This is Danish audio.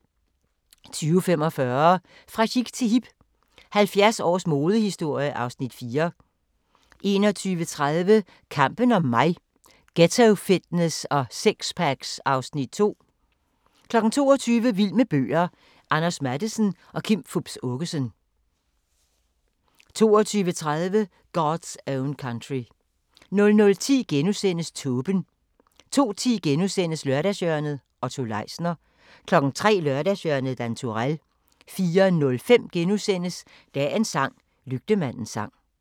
20:45: Fra chic til hip – 70 års modehistorie (Afs. 4) 21:30: Kampen om mig – Ghettofitness og sixpacks (Afs. 2) 22:00: Vild med bøger: Anders Matthesen og Kim Fupz Aakeson 22:30: God's Own Country 00:10: Tåben * 02:10: Lørdagshjørnet - Otto Leisner * 03:00: Lørdagshjørnet - Dan Turèll 04:05: Dagens sang: Lygtemandens sang *